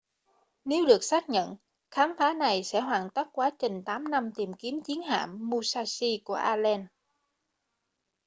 nếu được xác nhận khám phá này sẽ hoàn tất quá trình 8 năm tìm kiếm chiến hạm musashi của allen